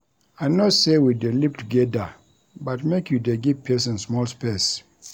I know sey we dey live togeda but make you dey give pesin small space.